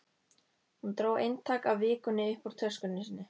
Hún dró eintak af Vikunni upp úr töskunni sinni.